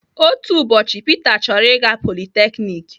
Otu ụbọchị Peter chọrọ ịga polytechnik.